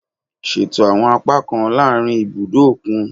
Ṣeto awọn apakan laarin ibudo okun